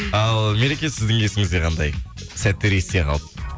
ал мереке сіздің есіңізде қандай сәттер есте қалды